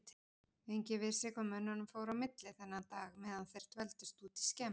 Enginn vissi hvað mönnunum fór á milli þennan dag meðan þeir dvöldust úti í skemmu.